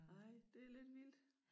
Ej det lidt vildt